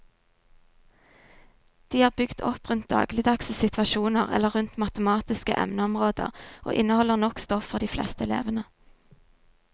De er bygd opp rundt dagligdagse situasjoner eller rundt matematiske emneområder og inneholder nok stoff for de fleste elevene.